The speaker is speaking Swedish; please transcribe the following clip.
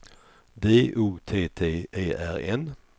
D O T T E R N